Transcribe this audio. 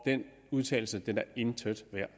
den udtalelse intet er